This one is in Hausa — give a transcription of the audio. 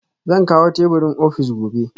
Zan kawo teburin ofis gobe